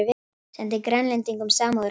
Sendi Grænlendingum samúðarkveðjur